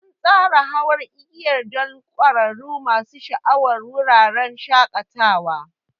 An tsara hawan igiyar don ƙwararrun masu sha'awar wuraren shakatawa.